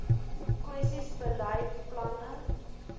kwessies beleid planne